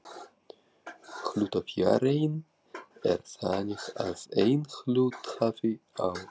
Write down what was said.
Hlutafjáreign er þannig að einn hluthafi á